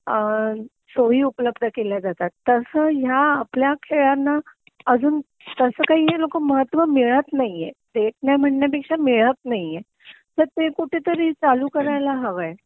अ सोई उपलब्ध केल्या जातात तस ह्या आपल्या खेळांना अजून तस काही हे लोक महत्व मिळत नाहीए देत नाही म्हणण्यापेक्षा मिळत नाहीए तर ते कुठंतरी चालू करायला हवंय